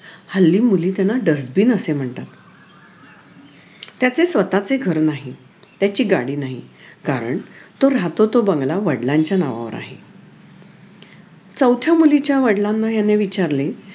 हल्ली मुली त्याना dustbin असे म्हणतात त्याचे स्वतःचे घर नाही त्याची गाडी नाही कारण तो राहतो तो बंगला वडलांच्या नावावर आहे चौथ्या मुलीच्या वडलांना ह्याने विचारले